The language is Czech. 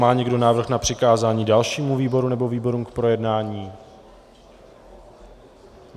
Má někdo návrh na přikázání dalšímu výboru, nebo výborům k projednání ?